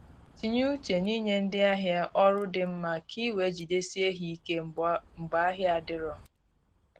Tinye uche n’inye ndị ahịa ọrụ di mma ka ị wee jidesie ha ike mgbe ahịa adiro